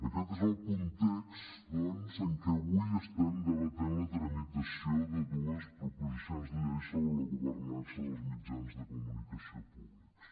aquest és el context doncs en què avui estem debatent la tramitació de dues proposicions de llei sobre la governança dels mitjans de comunicació públics